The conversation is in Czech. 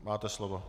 Máte slovo.